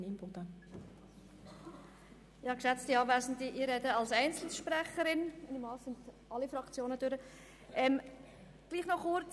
Ich spreche als Einzelsprecherin, weil ich annehme, dass alle Fraktionen ihre Voten abgegeben haben.